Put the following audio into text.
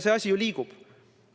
See asi ju liigub.